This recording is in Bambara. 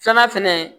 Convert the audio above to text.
Filanan fɛnɛ